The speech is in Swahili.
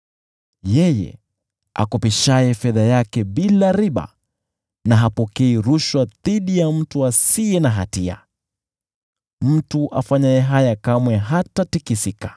Yeye akopeshaye fedha yake bila riba, na hapokei rushwa dhidi ya mtu asiye na hatia. Mtu afanyaye haya kamwe hatatikisika.